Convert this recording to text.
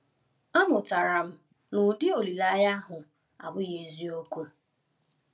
Amụtara m na ụdị olileanya ahụ abụghị eziokwu.